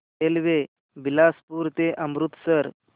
railway Bilaspur ते अमृतसर